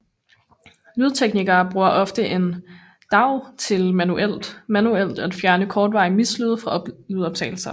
Lydteknikere bruger ofte en DAW til manuelt at fjerne kortvarige mislyde fra lydoptagelser